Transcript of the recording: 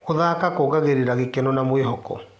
Gũthaka kuongagĩrĩra gĩkeno na mwĩhoko.